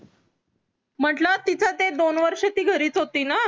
म्हंटल तिचं ते दोन वर्ष घरीच होती ना